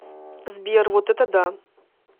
сбер вот это да